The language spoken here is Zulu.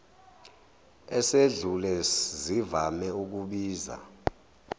esedlule zivame ukubiza